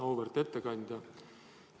Auväärt ettekandja!